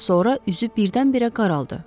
Sonra üzü birdən-birə qaraldı.